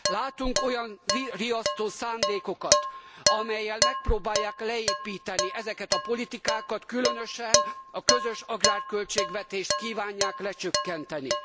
Látunk olyan riasztó szándékokat, amellyel megpróbálják leépíteni ezeket a politikákat, különösen a közös agrárköltségvetést kívánják lecsökkenteni.